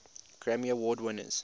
grammy award winners